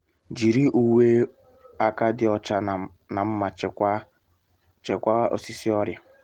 jiri uwe um aka dị ọcha na nma chịkwaa osisi ọrịa